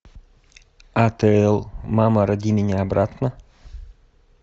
атл мама роди меня обратно